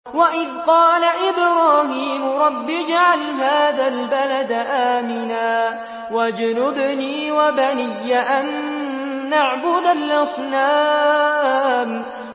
وَإِذْ قَالَ إِبْرَاهِيمُ رَبِّ اجْعَلْ هَٰذَا الْبَلَدَ آمِنًا وَاجْنُبْنِي وَبَنِيَّ أَن نَّعْبُدَ الْأَصْنَامَ